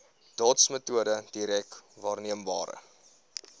dotsmetode direk waarneembare